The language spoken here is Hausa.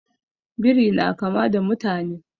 Biri na kama da mutane